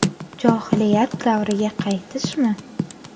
Johiliyat davriga qaytishmi?